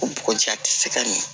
Bɔgɔji ja tɛ se ka min